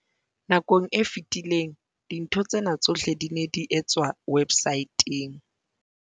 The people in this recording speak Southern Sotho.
Nakong e fetileng, dintho tsena tsohle di ne di etswa websaeteng.